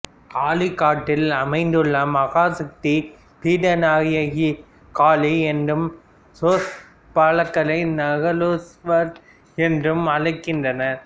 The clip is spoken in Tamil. காளி காட்டில் அமைந்துள்ள மகாசக்தி பீட நாயகியை காளி என்றும் க்ஷேத்ரபாலகரை நகுலேஷ்வரர் என்றும் அழைக்கின்றனர்